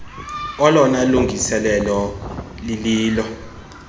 olona lungiselelo lililo